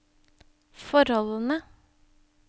forholdene